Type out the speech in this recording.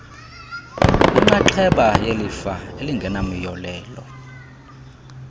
kwinxaxheba yelifa elingenamyolelo